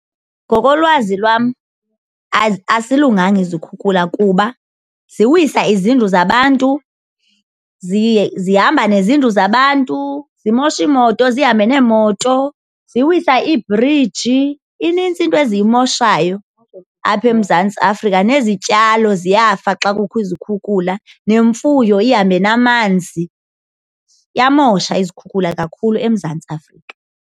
Ngokolwazi lwam azilunganga izikhukhula kuba ziwisa izindlu zabantu zihamba nezindlu zabantu zimoshe iimoto, zihambe neemoto ziwisa iibhriji, inintsi into eziyimoshayo apha eMzantsi Afrika. Nezityalo ziyafa xa kukho izikhukhula nemfuyo ihambe namanzi. Iyamosha izikhukhula kakhulu eMzantsi Afrika.